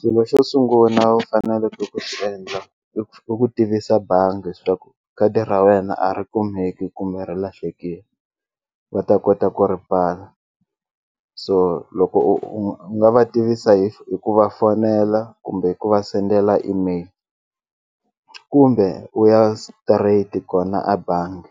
Xilo xo sunguna u faneleke ku xi endla i ku tivisa bangi swa ku khadi ra wena a ri kumeki kumbe ri lahlekile va ta kota ku ri pfala so loko u nga va tivisa hi ku va fonela kumbe hi ku va sendela email kumbe u ya straight kona a bangi